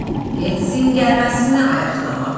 Getsin gərməsini ayaqlamağa.